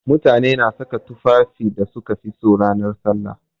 Mutane na saka tufafin da suka fi so ranan sallah.